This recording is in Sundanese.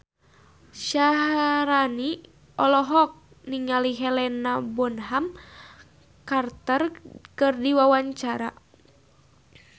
Syaharani olohok ningali Helena Bonham Carter keur diwawancara